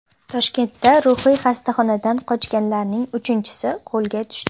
Toshkentda ruhiy xastaxonadan qochganlarning uchinchisi qo‘lga tushdi.